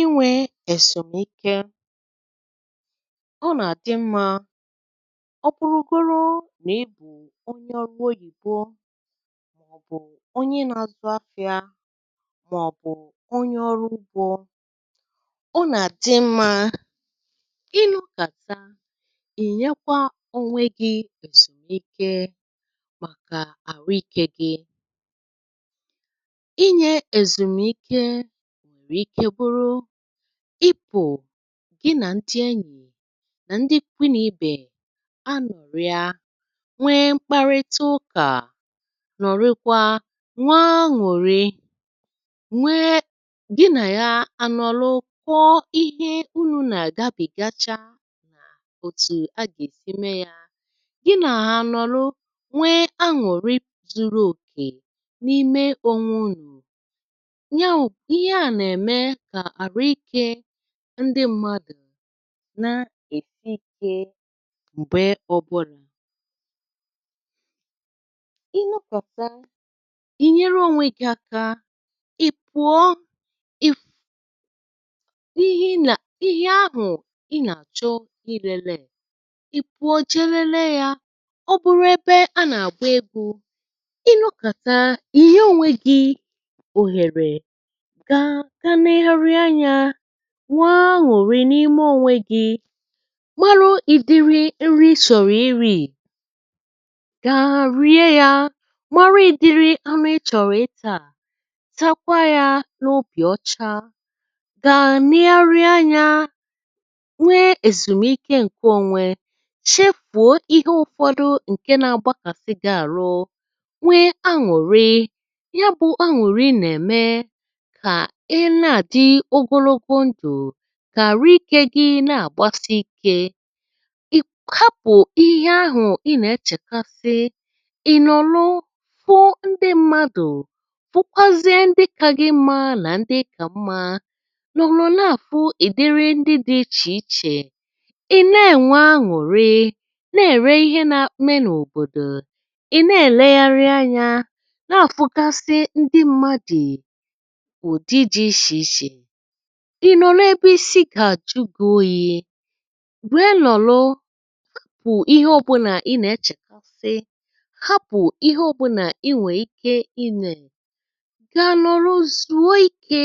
Inwē èzùmike ọ nàdị mmā nà ọ bụrụgoro nà ị bụ onye ọrụ oyìbo mọ̀bụ̀ onye nāzụ afīā mọ̀bụ̀ onye ọrụ ugbō Ọ nàdị mmā ị nọkàta ì nyekwa ònwe gī èzùmike màkà àhụikē gi Inyē èzùmike nwèrè ike bụrụ ịpụ̀ gị nà ndị enyì nà ndị ikwunibè anọ̀rịa nwee mkparịta ụkà ṅụ̀rịkwaa, nwee aṅụ̀rị, nwee gị nà ya ànọ̀lụ kọọ ihe unū nà-àgabị̀gacha òtù a gèsi me yā gị nà ya ànọ̀lụ nwee anwụ̀rị zuru òkè n’ime ònwunù. Ihe à Ihe à nème kà àhụikē ndị mmadụ̀ na-ènwe ikē m̀gbe ọ̀bụlà. Ị nọkàta ị̀ nyere ònwe gī aka ì pụọ, ihe ahụ̀ a nàchọ ilēlē ì pụọ je lele yā, ọ bụrụ ebe a nàgba egwū. Ị nọkàta ìnye ònwe gī òhèrè gaa gaa legharịa anyā nwee anwụ̀rị n’ime ònwe gī marị ìdiri nri ị chọ̀rịrii gà rie yā marị ìdiri anụ ị chọ̀rịtāā takwa yā n’obì ocha gaa legharịa anyā nwee èzùmike ǹke onwe chefùo ihe ụfọdụ ǹke nā agbakàsi gī àrụ, nwee anwụ̀rị ya bụ̄ anwụ̀rị nème kà ị na-àdị ogologo ndụ̀, kà àrụikē gi na-àgbasị ikē ị̀ hapụ̀ ihe ahụ̀ ị nà-echèkasị ị̀ nọ̀lụ hụọ ndị mmadụ̀ hụkwazie ndị ka gị mmā nà ndị ịkà mmā nà na-àfụ ị̀dịrị ndị dị́ ichè ichè ị̀ ne-ènwe anwụ̀rị neère ihe neme n’òbòdò, ị̀ nelègharịa anyā na àfụkasị ndị mmadụ̀ n’ụ̀dị dị̄ ishè ishè ị̀ nọ̀rọ ebe isi gà-àjụ gī oyī wèe nọ̀lụ hapụ̀ ihe ọ̀bụlà ị nēchèkasị hapụ̀ ihe ọ̀bụlà I nwèè ike imē bị̀à nọ̀lụ zùo ikē.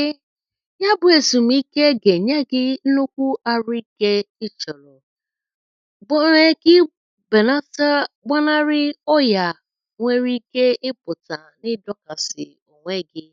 Yabụ̄ èzùmike gènye gī nnukwu àhụikē ị chọ̀rọ̀ gème gi bènata, gbanarị ọyà nwere ike ịpụ̀tà nịdọ̄kàsị̀ ònwe gī